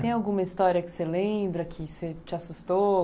Tem alguma história que você lembra, que que te assustou?